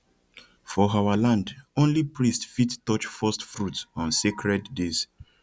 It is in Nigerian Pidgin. for our land only priest fit touch first fruit on sacred days